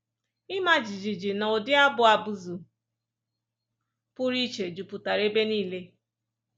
Ịma jijiji na ụdị abụ abụzụ pụrụ iche jupụtara ebe nile.